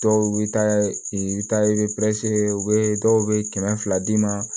Dɔw bɛ taa i bɛ taa i bɛ u bɛ dɔw bɛ kɛmɛ fila d'i ma